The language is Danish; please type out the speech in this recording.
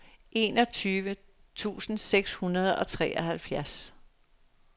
enogtyve tusind seks hundrede og treoghalvfjerds